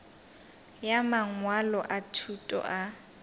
ya mangwalo a thuto a